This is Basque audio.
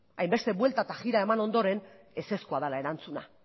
hainbeste buelta eta jira eman ondoren ezezkoa dela erantzuna